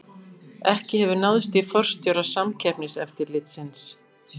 Ekki hefur náðst í forstjóra Samkeppniseftirlitsins